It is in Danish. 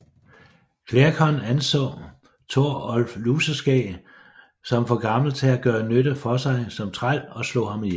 Klerkon anså Torolv Luseskæg som for gammel til at gøre nytte for sig som træl og slog ham ihjel